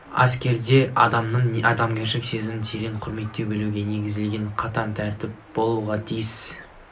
әскерде адамның адамгершілік сезімін терең құрметтей білуге негізделген қатаң тәртіп болуға тиіс